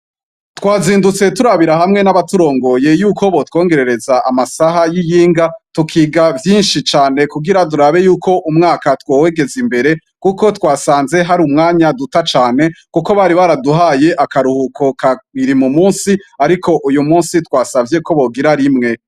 Twazindutse turabira hamwe n'abaturongoye yuko botwongerereza amasaha y'iyinga tukiga vyinshi cane kugira durabe yuko umwaka twowegeze imbere, kuko twasanze hari umwanya duta cane, kuko bari baraduhaye akaruhuko kawiri mu musi, ariko uyu musi twasavye ko bogira rimwe.